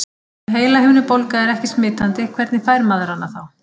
Ef heilahimnubólga er ekki smitandi, hvernig fær maður hana þá?